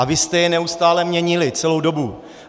A vy jste je neustále měnili, celou dobu.